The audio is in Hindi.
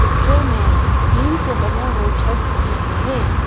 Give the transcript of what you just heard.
पिक्चर में टींन से बने हुए छत दिख रहे हैं।